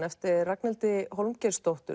eftir Ragnhildi